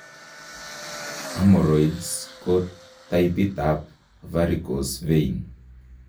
Hemorrhoids ko taipit ab varicose vein